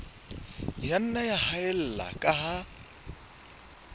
nna ya haella ka ha